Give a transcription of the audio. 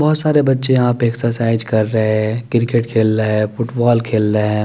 बोहोत सारे बच्चे यहा पे एक्सरसाइज़ कर रहे है क्रिकेट खेल ले फुटबॉल खेल ले है ।